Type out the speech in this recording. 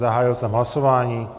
Zahájil jsem hlasování.